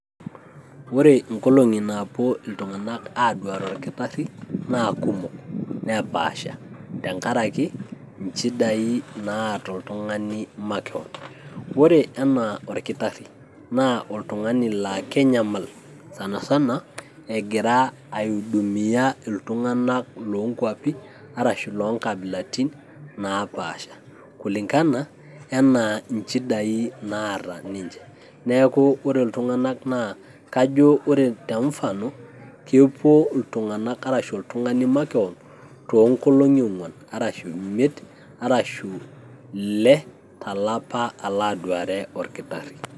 Ore inkolong'i naapuo iltung'anak aaduare orkitarri naa kumok nepaasha tenkaraki incidai naata oltung'ani makewon. Ore enaa olkitarri naa oltung'ani laa ekeny'amal, sanasana egira aidumia iltung'anak loonkuapi arashu loonkabilaitin naapaasha kulingani enaa inchidai naata ninche, neeku ore iltung'anak naa kajo ore te mfano kepuo iltung'anak arashu oltung'ani makewon toonkolong'i ongwan arashu imiet arashu ile to olapa alo aduare olkitarri.